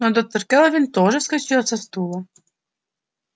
но доктор кэлвин тоже вскочила со стула